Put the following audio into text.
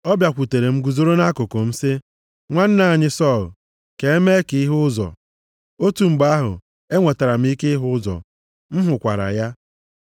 Ọ bịakwutere m, guzoro nʼakụkụ m sị, ‘Nwanna anyị Sọl, ka emee ka ị hụ ụzọ!’ Otu mgbe ahụ, e nwetara m ike ịhụ ụzọ, m hụkwara ya.